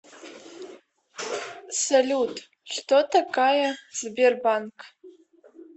салют что такая сбербанк